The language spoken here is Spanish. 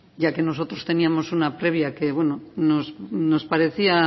ya que nosotros teníamos una previa que nos parecía